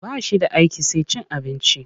Ba shi da aiki sai cin abinci.